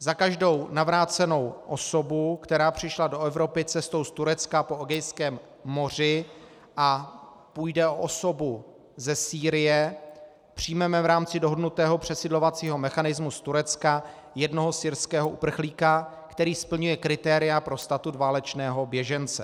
Za každou navrácenou osobu, která přišla do Evropy cestou z Turecka po Egejském moři, a půjde o osobu ze Sýrie, přijmeme v rámci dohodnutého přesídlovacího mechanismu z Turecka jednoho syrského uprchlíka, který splňuje kritéria pro statut válečného běžence.